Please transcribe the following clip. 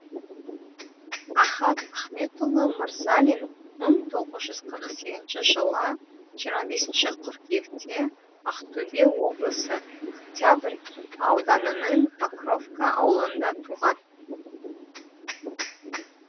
ахат ахметұлы мырзалин мың тоғыз жүз қырық сегізінші жылы жиырма бесінші қыркүйекте ақтөбе облысы октябрь ауданының покровка ауылында туған